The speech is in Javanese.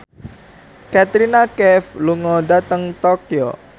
Katrina Kaif lunga dhateng Tokyo